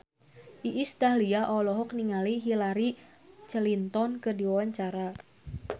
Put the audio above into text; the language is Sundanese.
Iis Dahlia olohok ningali Hillary Clinton keur diwawancara